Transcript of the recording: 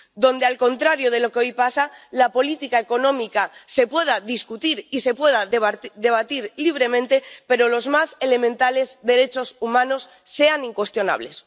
donde, al contrario de lo que pasa hoy, la política económica se pueda discutir y se pueda debatir libremente, pero los más elementales derechos humanos sean incuestionables.